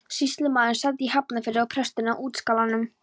Sýslumaðurinn sat í Hafnarfirði og presturinn á Útskálum.